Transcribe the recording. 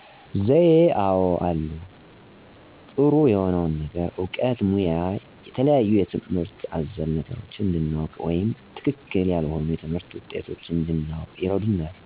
ዘዬ አወ አሉ። ጥሩ የሆነውን ነገር እውቀት ሙያ የተለያዩ ትምህርት አዘል ነገሮችን እንድናውቅ ወይም ትክክል ያልሆኑ የትምህርት ውጤቶች እንድናውቅ ይረዱናል።